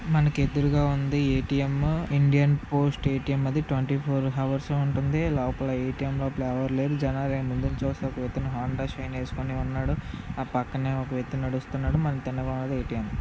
మనకి దుర్గా ఉంది. ATM. Indian Post ATM అది హార్స్ ఉంటుంది లోపల ఏటీఎంలు ఎవరూ లేరు. జనార్దన్ను చూసినపోతున్న ఆంధ్రశ్రీ నేర్చుకొని ఉన్నాడు. ఆ పక్కనే ఒక ఎత్తు నడుస్తున్నాడు మనకి--